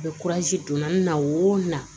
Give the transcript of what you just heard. A bɛ donna n na o na